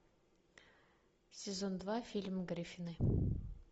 сезон два фильм гриффины